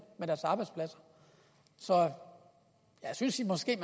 så jeg synes måske at